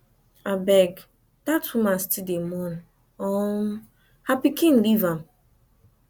abeg dat woman still dey mourn um her pikin leave am alone